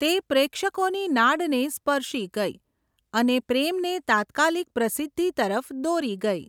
તે પ્રેક્ષકોની નાડને સ્પર્શી ગઈ અને પ્રેમને તાત્કાલિક પ્રસિદ્ધિ તરફ દોરી ગઈ.